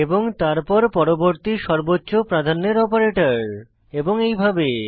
এবং তারপর পরবর্তী সর্বোচ্চ প্রাধান্যের অপারেটর এবং এইভাবে